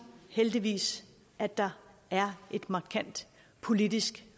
heldigvis at der er et markant politisk